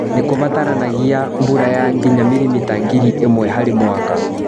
Nĩ kũbataranagia mbura ya nginya milimita ngiri ĩmwe harĩ mwaka.